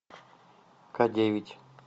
ка девять